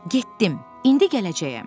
Getdim, indi gələcəyəm.